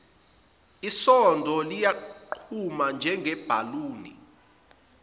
isondo liyaqhuma njengebhaluni